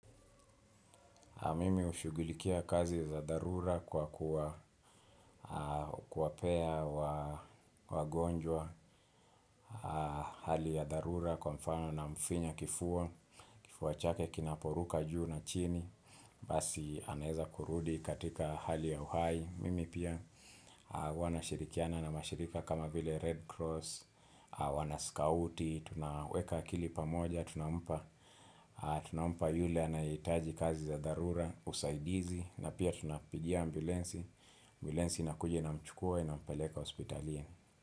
Mimi ushugulikia kazi za dharura kwa kuwaa aah kuwapea waa wagonjwa aah hali ya dharura kwa mfano namfinya kifua. Kifua chake kinaporuka juu na chini, basi anaeza kurudi katika hali ya uhai. Mimi pia aah wana shirikiana na mashirika kama vile Red Cross, wana scouti, tunaweka akili pamoja. Tunampa aah tunampa yule anaye hitaji kazi za dharura, usaidizi. Na pia tunapigia ambulansi. Ambulansi inakuja inamchukua inampeleka hospitali.